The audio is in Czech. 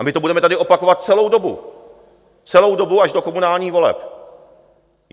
A my to budeme tady opakovat celou dobu, celou dobu až do komunálních voleb.